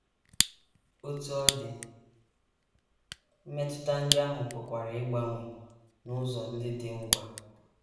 Otú ọ dị, mmetụta ndị ahụ pụkwara ịgbanwe n’ụzọ ndị dị ngwa.